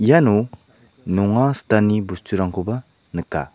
iano nonga sitani bosturangkoba nika.